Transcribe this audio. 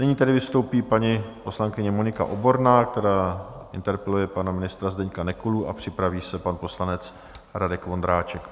Nyní tedy vystoupí paní poslankyně Monika Oborná, která interpeluje pana ministra Zdeňka Nekulu, a připraví se pan poslanec Radek Vondráček.